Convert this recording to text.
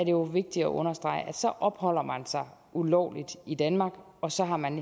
jo vigtigt at understrege at så opholder man sig ulovligt i danmark og så har man